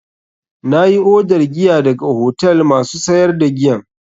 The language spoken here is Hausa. Na yi odar giya daga hotel masu sayar da giyan.